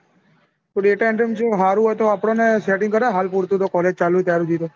data entry માં ચેવું સારું હોય તો આપડોને setting કરાવ હાલ પુરતું college ચાલું હ ત્યાર સુધી તો.